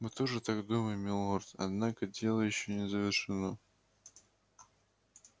мы тоже так думаем милорд однако дело ещё не завершено